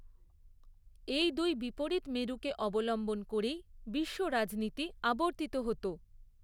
এই দুই বিপরীত মেরুকে অবলম্বন করেই বিশ্ব রাজনীতি আবর্তিত হত।